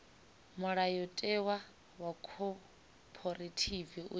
mulayotewa wa khophorethivi u tshi